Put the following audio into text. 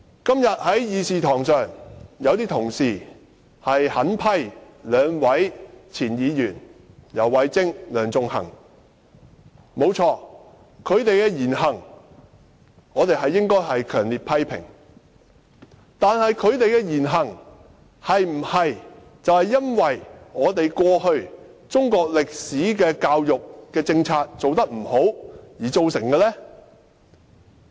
今天有些同事在會議廳內狠批兩名前候任議員游蕙禎和梁頌恆，他們的言行沒錯是應該受到強烈批評，但他們這種言行是否由於過去中國歷史科的教育政策做得不好而造成的呢？